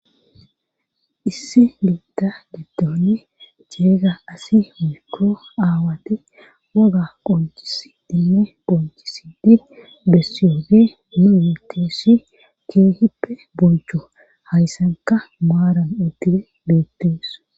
issi biitta giddon ceega asi mikko aawatti waga qoncis dimme ponchisidi bessiyoofi mumitessi keehippe bolcho hayssanka maaran utti beettees